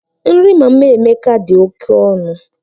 Nri Mama Emeka dị oke ọnụ.